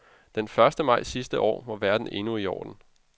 Den første maj sidste år var verden endnu i orden.